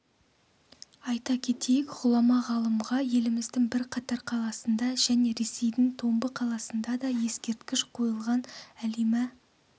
айта кетейік ғұлама ғалымға еліміздің бірқатар қаласында және ресейдің томбы қаласында да ескерткіш қойылған әлима